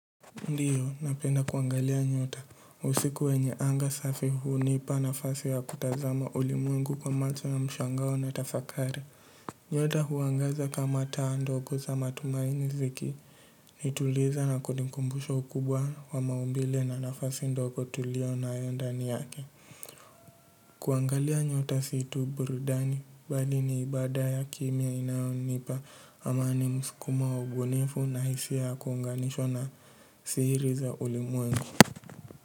Ndiyo napenda kuangalia nyota usiku wenye anga safi hunipa nafasi ya kutazama ulimwengu kwa macho ya mshangao na tafakari nyota huangaza kama taa ndogo za matumaini zikinituliza na kunikumbusha ukubwa wa maumbile na nafasi ndogo tulio nayo ndani yake. Kuangalia nyota si tu burudani bali ni ibada ya kimia inayonipa amani msukumo wa ubunifu na hisia ya kuunganishwa na siri za ulimwengu.